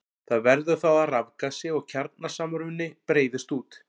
Það verður þá að rafgasi og kjarnasamruni breiðist út.